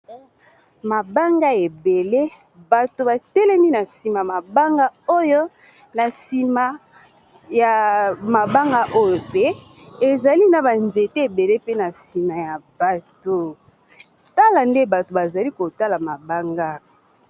Mabanga ebele bato batelemi na nsima mabanga oyo na nsima ya mabanga oyo pe ezali na ba nzete ebele pe na nsima ya bato tala nde bato bazali kotala mabanga.